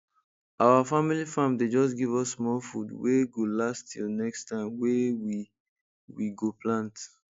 our family farm dey just give us small food wey go last till next time wey we we go plant